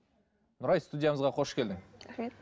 нұрай студиямызға қош келдің рахмет